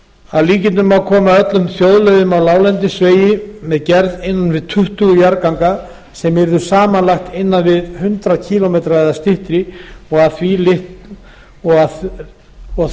að líkindum má koma öllum þjóðleiðum á láglendisvegi með gerð innan við tuttugu jarðganga sem yrðu samanlagt um hundrað kílómetra eða styttri og